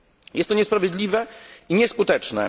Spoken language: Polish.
Jest to niesprawiedliwe i nieskuteczne.